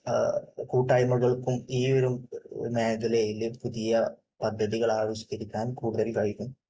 കൂട്ടായ്മകൾക്കും ഈ ഒരു മേഖലയിൽ പുതിയ പദ്ധതികൾ ആവിഷ്കരിക്കാൻ കൂടുതൽ കഴിയും